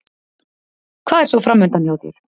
Hvað er svo framundan hjá þér?